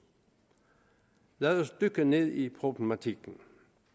lad os dykke ned i problematikken